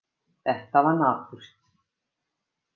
Þetta var napurt.